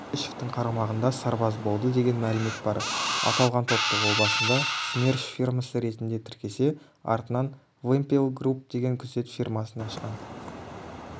төлешовтің қарамағында сарбаз болды деген мәлімет бар аталған топты ол басында смерш фирмасы ретінде тіркесе артынан вымпелгрупп деген күзет фирмасын ашқан